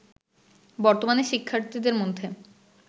বর্তমানে শিক্ষার্থীদের মধ্যে